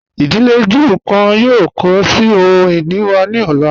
Idílé Júù kan yóò kọ sí ohun-ini wa ni ọ̀la.